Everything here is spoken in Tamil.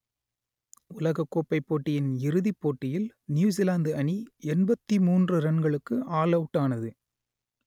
உலகக்கோப்பை போட்டியின் இறுதிப் போட்டியில் நியூசிலாந்து அணி எண்பத்தி மூன்று ரன்களுக்கு ஆல் அவுட் ஆனது